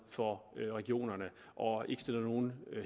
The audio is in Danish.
for regionerne og ikke stiller nogen